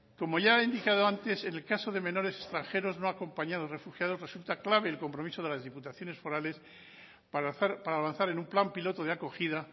como ya he indicado antes en el caso de menores extranjeros no acompañados refugiados resulta clave el compromiso de las diputaciones forales para avanzar en un plan piloto de acogida